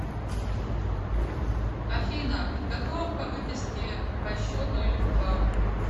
афина подготовка выписки по счету или вкладу